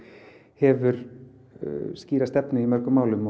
hefur skýra stefnu í mörgum málum